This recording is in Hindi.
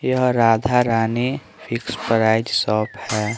यह Radha Rani fix price shop है।